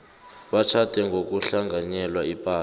batjhade ngokuhlanganyela ipahla